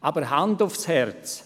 Doch Hand aufs Herz: